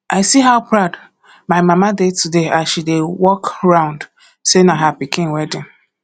i see how proud my mama dey today as she dey walk around say na her pikin wedding